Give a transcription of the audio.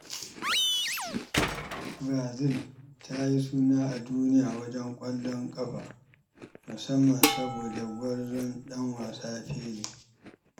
Brazil ta yi suna a duniya wajen ƙwallon ƙafa, musamman saboda gwarzon ɗan wasa Pelé.